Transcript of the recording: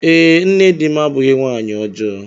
Ee, nne di m abụghị nwanyị ọjọọ.